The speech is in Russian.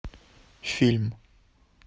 фильм